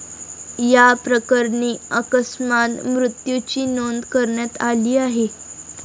याप्रकरणी अकस्मात मृत्यूची नोंद करण्यात आली आहे.